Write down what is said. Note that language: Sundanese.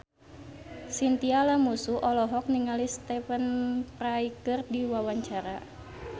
Chintya Lamusu olohok ningali Stephen Fry keur diwawancara